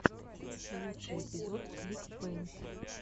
лучший эпизод клик пэйнт